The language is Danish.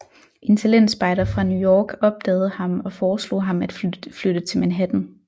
En talentspejder fra New York opdagede ham og foreslog ham at flytte til Manhattan